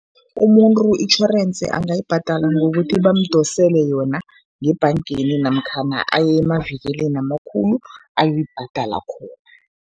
Umuntu itjhorensi angayibhadala ngokuthi bamdosele yona ngebhangeni namkhana aye emavikilini amakhulu, ayoyibhadala khona.